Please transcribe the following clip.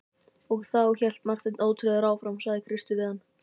Og þá, hélt Marteinn ótrauður áfram,-sagði Kristur við hann.